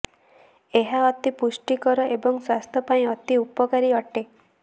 ଏହା ଅତି ପୁଷ୍ଟିକର ଏବଂ ସ୍ବାସ୍ଥ୍ୟ ପାଇଁ ଅତି ଉପକାରୀ ଅଟେ